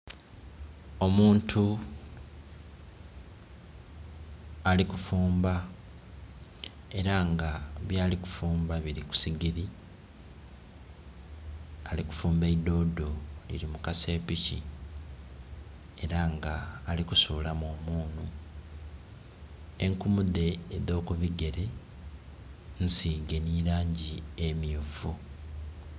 Omuntu ali kufumba, era nga byali kufumba biri ku sigiri. Ali kufumba idoodo liri mu kasepiki era nga ali kusulamu omunhu. Enkumu dhe edh'okubigere nsiige nhi langi emyufu.